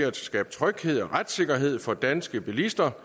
at skabe tryghed og retssikkerhed for danske bilister